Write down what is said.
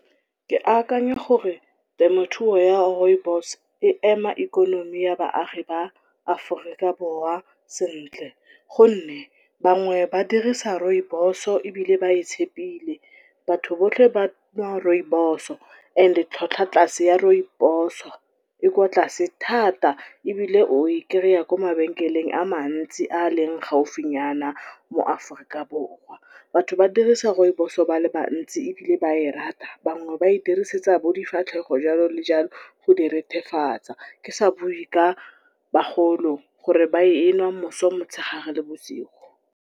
Ke akanya gore temothuo ya rooibos e ema ikonomi ya baagi ba Aforika Borwa sentle gonne, bangwe ba dirisa rooibos-o ebile ba e tshepile. Batho botlhe banwa rooibos-o and tlhwatlhwa tlase ya rooibos-o e kwa tlase thata, ebile o e kry-a kwa mabenkeleng a mantsi a leng gaufinyana mo Aforika Borwa. Batho ba dirisa rooibos-o ba le bantsi ebile ba e rata, bangwe ba e dirisetsa bo difatlhego jalo le jalo go di rethefatsa, ke sa bue ka bagolo gore ba e nwa mosong, motshegare le bosigo.